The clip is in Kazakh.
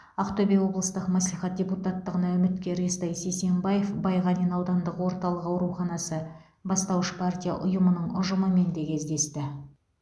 ақтөбе облыстық маслихат депуттатығына үміткер естай сисенбаев байғанин аудандық орталық ауруханасы бастауыш партия ұйымының ұжымымен де кездесті